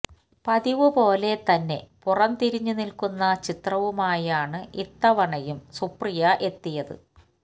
പതിവ് പോലെ തന്നെ പുറം തിരിഞ്ഞുനില്ക്കുന്ന ചിത്രവുമായാണ് ഇത്തവണയും സുപ്രിയ എത്തിയത്